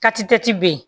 be yen